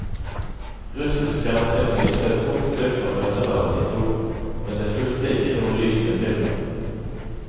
Russisk fjernsyn viste et kort klipp fra møtet mellom de to, men det fulgte ikke noe lyd med filmen.